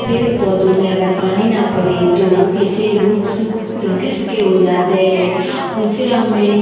पेड़ पौधे में अगर पानी न पड़े तो वो कैसे रुक सुक रुके सके हो जाते है उनसे हमे --